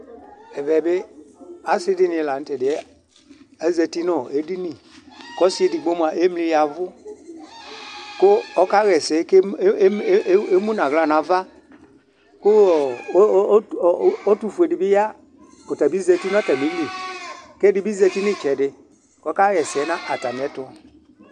Ɛvɛ bɩ ɔsɩ dini la nʋ tɛdiɛ azǝtɩ nʋ edini Kʋ ɔsɩ edigbo mua emli yavʋ, kʋ ɔka ɣɛsɛ, kʋ emu nʋ aɣla nava Kʋɔɔ ɛtʋfue di bɩ ya, kʋ ɔtabɩ zǝti nʋ atamili, kʋ ɛdɩ bɩ zǝtɩ, kʋ ɔka ɣɛsɛ nʋ atamɩɛtʋ